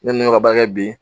Ne ni kɛ bi